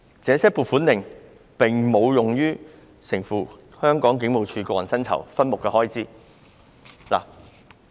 這些撥款令並無用於承付香港警務處個人薪酬分目的開支。